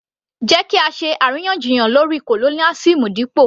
Jẹ́ kí á ṣe àríyànjiyàn lórí colonialism dípò